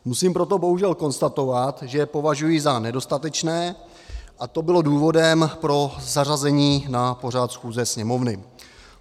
Musím proto bohužel konstatovat, že je považuji za nedostatečné, a to bylo důvodem pro zařazení na pořad schůze Sněmovny.